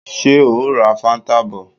Ṣé o ó ra fáńtà bọ̀?